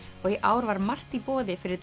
og í ár var margt í boði fyrir